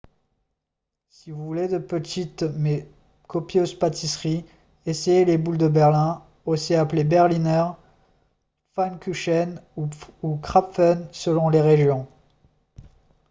si vous voulez de petites mais copieuses pâtisseries essayez les boules de berlin aussi appelées berliner pfannkuchen ou krapfen selon les régions